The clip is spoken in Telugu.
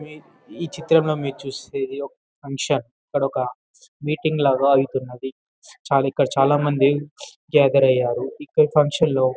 ఈ చిత్రం లో మీరు చూసేది ఒక్ ఫంక్షన్ ఇక్కడొక మీటింగ్ లాగా అయితున్నది చాలా ఇక్కడ చాలా మంది గాధేర్ అయ్యారు ఇక్కడ ఫంక్షన్ లో--